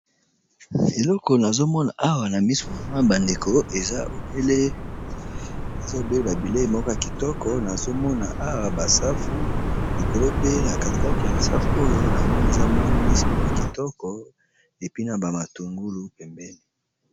Eleko nazomona awa na misu na ma bandeko eza lobele ba bileyi moko ya kitoko nazomona awa basafu likolo pe na katikati ya ba safu oyo na moni eza mwa mbisi moko ya kitoko est puis na ba matungulu pembeni.